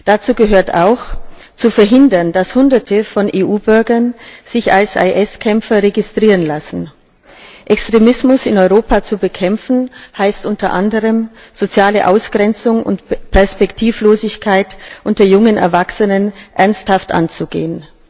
Dazu gehört auch zu verhindern, dass Hunderte von EU Bürgern sich als IS Kämpfer registrieren lassen. Extremismus in Europa zu bekämpfen heißt unter anderem, soziale Ausgrenzung und Perspektivlosigkeit unter jungen Erwachsenen ernsthaft anzugehen.